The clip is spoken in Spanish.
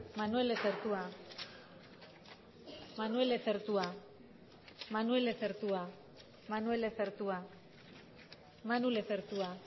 manuel lezertua manuel lezertua manuel lezertua manuel lezertua manu lezertua